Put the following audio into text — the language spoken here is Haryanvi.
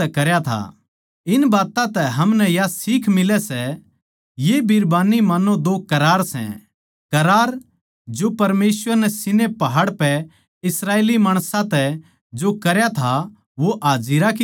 इन बात्तां तै हमनै या सीख मिलै सै ये बीरबानी मान्नो दो करार सै करार जो परमेसवर नै सीनै पहाड़ पै इस्राएली माणसां तै जो करया था वो हाजिरा की तरियां सै